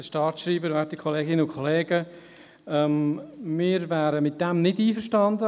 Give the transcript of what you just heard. Damit wären wir nicht einverstanden.